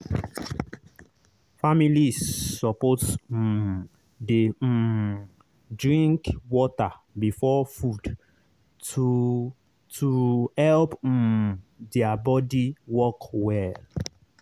families suppose um dey um drink water before food to to help um their body work well.